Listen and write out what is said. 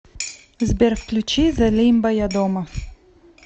сбер включи зе лимба я дома